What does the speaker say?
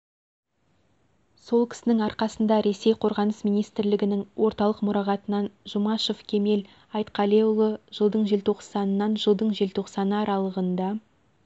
сол кісінің арқасында ресей қорғаныс министрлігінің орталық мұрағатынан жұмашев кемел айтқалиұлы жылдың желтоқсанынан жылдың желтоқсаны аралығында